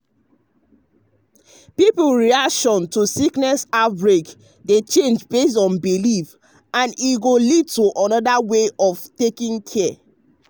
people reaction to sickness outbreak dey change based um on belief um and e go lead to another way of taking care.